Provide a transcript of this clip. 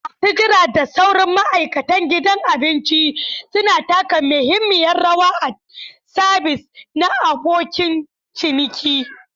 Masu jira da sauran ma'aikatan gidan abinci suna taka muhimmiyar rawa a sabis na abokin ciniki.